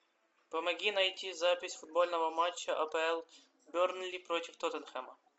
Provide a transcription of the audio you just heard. помоги найти запись футбольного матча апл бернли против тоттенхэма